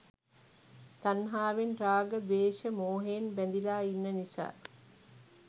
තණ්හාවෙන් රාග, ද්වේෂ, මෝහයෙන් බැඳිලා ඉන්න නිසා.